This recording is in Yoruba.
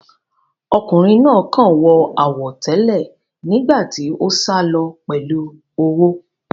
Ọkùnrin náà kàn wọ àwọ̀ tẹ́lẹ̀ nígbà tí ó sálọ pẹ̀lú owó